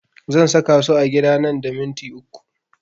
Zan saka su a gida nan da minti uku